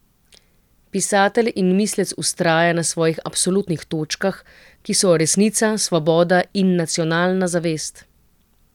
Pisatelj in mislec vztraja na svojih absolutnih točkah, ki so resnica, svoboda in nacionalna zavest.